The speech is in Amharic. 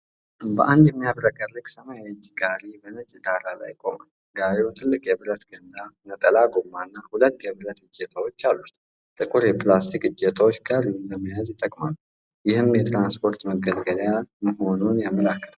አንድ የሚያብረቀርቅ ሰማያዊ የእጅ ጋሪ በነጭ ዳራ ላይ ቆሟል። ጋሪው ትልቅ የብረት ገንዳ፣ ነጠላ ጎማ እና ሁለት የብረት እጀታዎች አሉት። ጥቁር የላስቲክ እጀታዎች ጋሪውን ለመያዝ ይጠቅማሉ፤ ይህም የትራንስፖርት መገልገያ መሆኑን ያመለክታል።